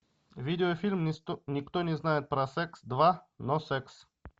видеофильм никто не знает про секс два но секс